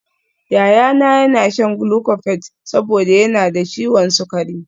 Yayana yana shan glucophage saboda yana da ciwon sukari